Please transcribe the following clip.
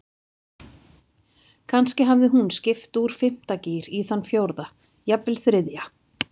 Kannski hafði hún skipt úr fimmta gír í þann fjórða, jafnvel þriðja.